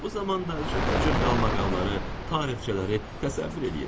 Bu zamanda cürbəcür qalmaqalları, tarixçələri təsəvvür eləyirəm.